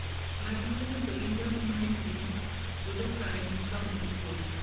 Ng'at mowuotho gi ngamia e thim, yudo ka en kama okuwe.